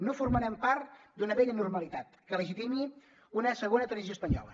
no formarem part d’una vella normalitat que legitimi una segona transició espanyola